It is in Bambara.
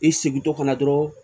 I sigitɔ kana dɔrɔn